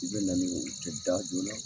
I be na ni u ti da joona .